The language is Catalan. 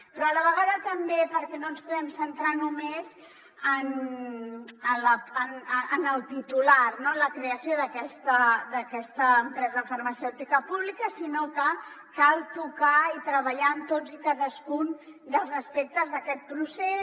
però a la vegada també perquè no ens podem centrar només en el titular no en la creació d’aquesta empresa farmacèutica pública sinó que cal tocar i treballar en tots i cadascun dels aspectes d’aquest procés